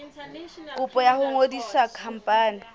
kopo ya ho ngodisa khampani